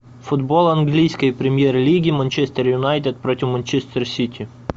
футбол английской премьер лиги манчестер юнайтед против манчестер сити